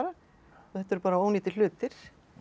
og þetta eru bara ónýtir hlutir